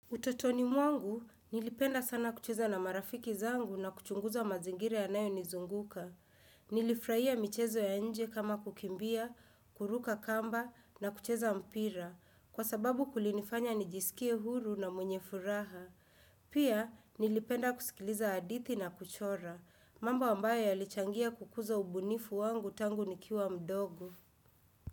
Utotoni mwangu nilipenda sana kucheza na marafiki zangu na kuchunguza mazingira yanayonizunguka. Nilifurahia michezo ya nje kama kukimbia, kuruka kamba na kucheza mpira. Kwa sababu kulinifanya nijisikie huru na mwenye furaha. Pia nilipenda kusikiliza hadithi na kuchora. Mambo ambayo yalichangia kukuza ubunifu wangu tangu nikiwa mdogo.